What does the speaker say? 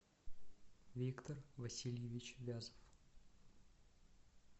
виктор васильевич вязов